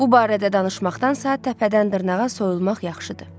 Bu barədə danışmaqdansa təpədən-dırnağa soyulmaq yaxşıdır.